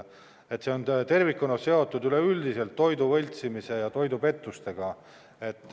See on tervikuna üleüldiselt seotud toidu võltsimise ja toidupettustega.